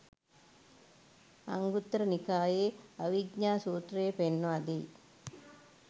අංගුත්තර නිකායේ අවිජ්ජා සූත්‍රය පෙන්වා දෙයි